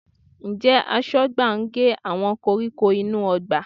Ǹjẹ́ Aṣọ́gbà ń gé àwọn koríko inú ọgbà?